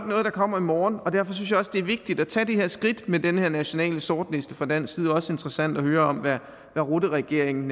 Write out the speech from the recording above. noget der kommer i morgen og derfor synes jeg også det er vigtigt at tage det her skridt med den her nationale sortliste fra dansk side også interessant at høre om hvad rutteregeringen